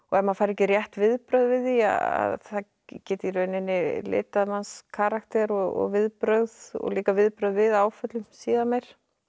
maður fær ekki rétt viðbrögð við því að það geti í rauninni litað manns karakter og viðbrögð og líka viðbrögð við áföllum síðar meir